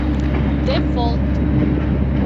дефолт